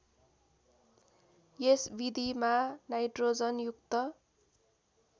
यस विधिमा नाइट्रोजनयुक्त